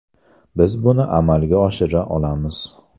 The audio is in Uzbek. Biz buni amalga oshira olamiz.